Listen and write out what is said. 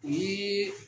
O ye